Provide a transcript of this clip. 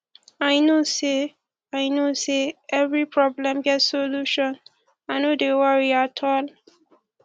i know sey i know sey every problem get solution i no dey worry at all